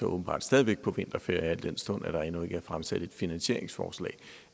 åbenbart stadig væk på vinterferie al den stund at der endnu ikke er fremsat et finansieringsforslag